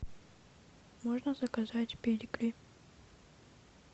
можно заказать педигри